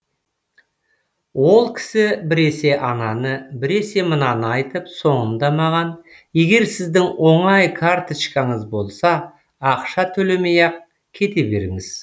ол кісі біресе ананы біресе мынаны айтып соңында маған егер сіздің оңай карточкаңыз болса ақша төлемей ақ кете беріңіз